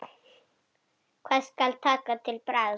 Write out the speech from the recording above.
Hvað skal taka til bragðs?